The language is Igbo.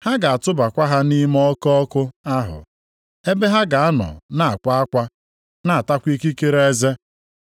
Ha ga-atụbakwa ha nʼime oke ọkụ ahụ, ebe ha ga-anọ na-akwa akwa, na-atakwa ikikere eze.